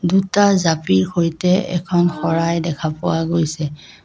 দুটা জাপিৰ সৈতে এখন শৰাই দেখা পোৱা গৈছে।